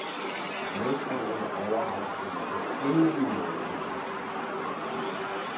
Modstanderne overraskede på ingen måde hjemmeholdet.